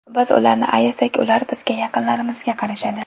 Biz ularni ayasak, ular bizga, yaqinlarimizga qarashadi.